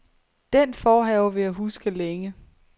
Den forhave vil jeg huske længe.